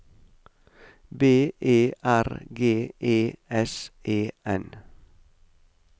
B E R G E S E N